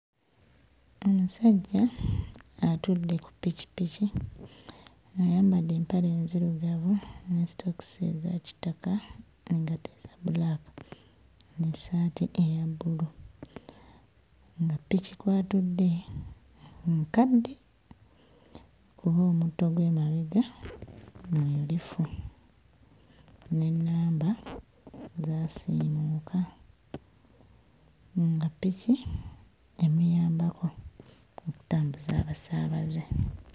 Omusajja atudde ku ppikippiki ayambadde empale nzirugavu ne sitookisi eza kitaka engatto ya bbulaaka n'essaati eya bbulu. Nga ppiki kw'atudde nkadde kuba omutto gw'emabega muyulifu n'ennamba zaasiimuuka nga ppiki emuyambako okutambuza abasaabaze.